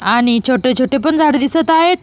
आणि छोटे छोटे पण झाड दिसत आहेत.